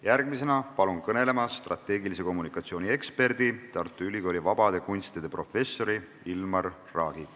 Järgmisena palun kõnelema strateegilise kommunikatsiooni eksperdi, Tartu Ülikooli vabade kunstide professori Ilmar Raagi.